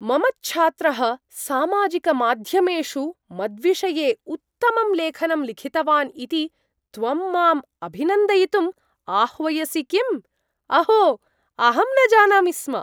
मम च्छात्रः सामाजिकमाध्यमेषु मद्विषये उत्तमं लेखनं लिखितवान् इति त्वं माम् अभिनन्दयितुं आह्वयसि किम्? अहो, अहं न जानामि स्म।